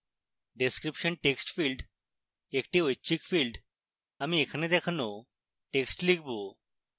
description text field একটি ঐচ্ছিক field